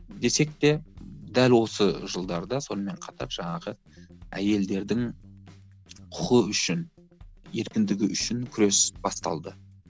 десек те дәл осы жылдарда сонымен қатар жаңағы әйелдердің құқы үшін еркіндігі үшін күрес басталды